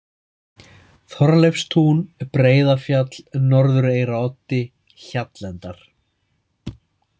Þorleifstún, Breiðafjall, Norðureyraroddi, Hjallendar